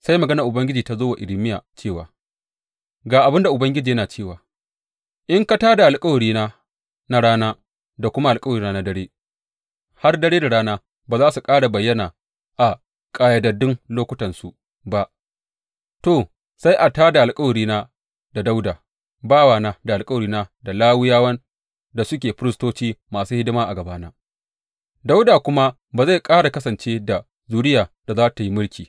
Sai maganar Ubangiji ta zo wa Irmiya cewa, Ga abin da Ubangiji yana cewa, In ka tā da alkawarina na rana da kuma alkawarina na dare, har dare da rana ba za su ƙara bayyana a ƙayyadaddun lokutansu ba, to, sai a tā da alkawarina da Dawuda bawana da alkawarina da Lawiyawan da suke firistoci masu hidima a gabana, Dawuda kuma ba zai ƙara kasance da zuriyar da za tă yi mulki.